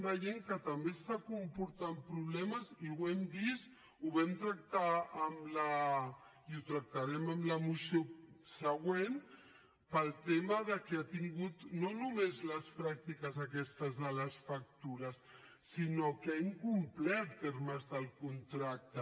veiem que també comporta problemes i ho hem vist ho vam tractar i ho tractarem amb la moció següent pel tema que ha tingut no només de les pràctiques aquestes de les factures sinó que ha incomplert termes del contracte